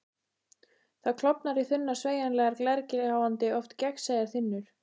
Það klofnar í þunnar, sveigjanlegar, glergljáandi, oft gagnsæjar þynnur.